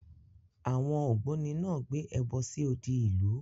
Àwọn ògbóni náà gbé ẹbọ sí odi ìlú.